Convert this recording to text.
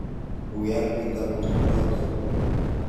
Wii al kitaput notok.